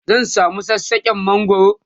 zan samu sassaken mangwaro